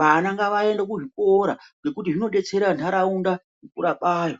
Vana ngavaende kuzvikora nekuti zvizodetsera nharaunda kukura kwayo.